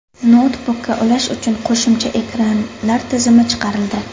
Noutbukka ulash uchun qo‘shimcha ekranlar tizimi chiqarildi.